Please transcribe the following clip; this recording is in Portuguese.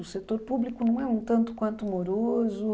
O setor público não é um tanto quanto moroso.